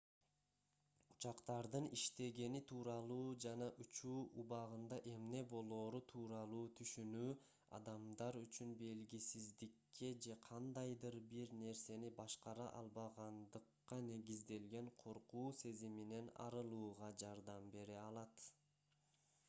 учактардын иштегени тууралуу жана учуу убагында эмне болоору тууралуу түшүнүү адамдар үчүн белгисиздикке же кандайдыр бир нерсени башкара албагандыкка негизделген коркуу сезиминен арылууга жардам бере алат